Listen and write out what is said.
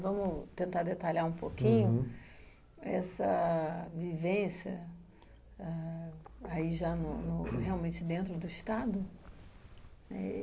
Vamos tentar detalhar um pouquinho essa vivência ãh aí já no no, realmente dentro do Estado